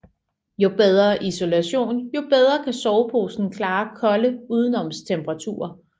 Jo bedre isolation jo bedre kan soveposen klare kolde udenoms temperaturer